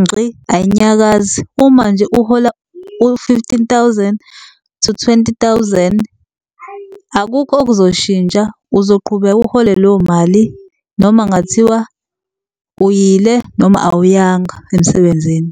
ngxi ayinyakazi. Uma nje uhola u-fifteen thousand to twenty thousand akukho okuzoshintsha uzoqhubeka uthole leyo mali noma kungathiwa uyile, noma awuyanga emsebenzini.